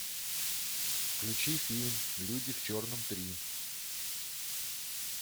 включи фильм люди в черном три